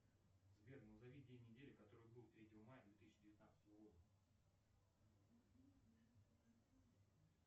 сбер назови день недели который был третьего мая две тысячи девятнадцатого года